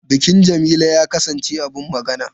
Bikin Jamila ya kasance abin magana.